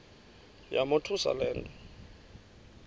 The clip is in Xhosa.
yamothusa le nto